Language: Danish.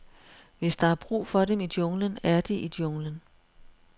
Hvis der er brug for dem i junglen, er de i junglen.